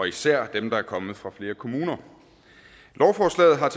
især dem der er kommet fra flere kommuner lovforslaget har